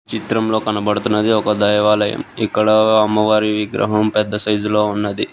చిత్రంలో కనబడుతున్నది ఒక దైవాలయం ఇక్కడ అమ్మవారి విగ్రహం పెద్ద సైజులో ఉన్నది.